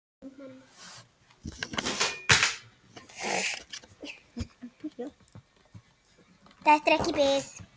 Þetta er ekki bið.